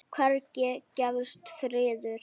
Hvergi gefst friður.